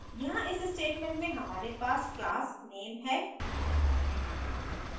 यहाँ इस statement में हमारे पास class नेम है